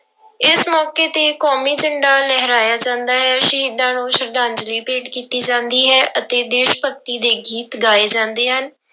ਇਸ ਮੌਕੇ ਤੇ ਕੌਮੀ ਝੰਡਾ ਲਹਰਾਇਆ ਜਾਂਦਾ ਹੈ, ਸ਼ਹੀਦਾਂ ਨੂੰ ਸਰਧਾਂਂਜਲੀ ਭੇਟ ਕੀਤੀ ਜਾਂਦੀ ਹੈ ਅਤੇ ਦੇਸ ਭਗਤੀ ਦੇ ਗੀਤ ਗਾਏ ਜਾਂਦੇ ਹਨ।